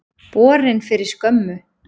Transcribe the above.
Borin fyrir skömmu.